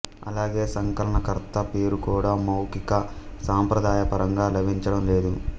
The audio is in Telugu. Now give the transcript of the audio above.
అలాగే సంకలనకర్త పేరు కూడా మౌఖిక సంప్రదాయ పరంగా లభించడం లేదు